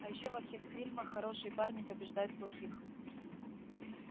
а ещё во всех фильмах хорошие парни побеждают плохих